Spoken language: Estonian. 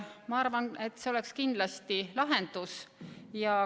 Ma arvan, et see oleks kindlasti lahendus.